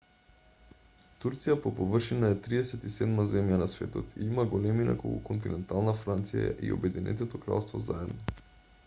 турција по површина е 37-ма земја на светот и има големина колку континентална франција и обединетото кралство заедно